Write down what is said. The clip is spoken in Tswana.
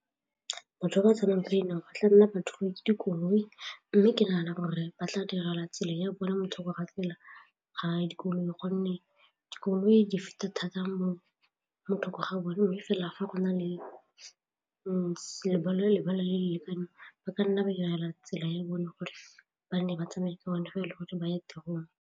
Batho ba ba tsamayang ka dinao ba tla nna batho dikoloi mme ke nagana gore ba tla direlwa tsela ya bona mo thoko ga tsela ya dikoloi gonne dikoloi di feta thata mo thoko gabone fela fa go na le ntsi le le lekaneng ba ka nna ba direla tsela ya bone gore ba nne ba tsamaye ke bone fela gore ba ya tirong.